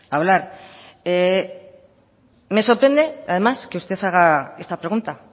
hablar me sorprende además que usted haga esta pregunta